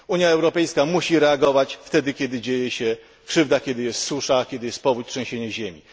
Unia Europejska musi reagować wtedy, kiedy dzieje się krzywda, kiedy jest susza, kiedy jest powódź czy trzęsienie ziemi.